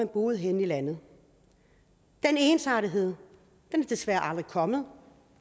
boede henne i landet den ensartethed er desværre aldrig kommet